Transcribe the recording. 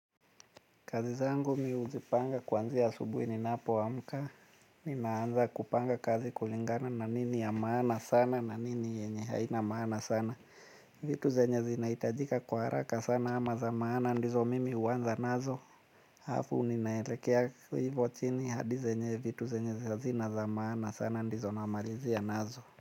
Kazi zangu mi huzipanga kuanzia asubui ninapoamka. Ninaanza kupanga kazi kulingana na nini ya maana sana na nini yenye haina maana sana. Vitu zenye zinaitajika kwa haraka sana ama za maana ndizo mimi huwanza nazo. Hafu ninaelekea hivo chini hadi zenye vitu zenye hazina za maana sana ndizo namalizia nazo.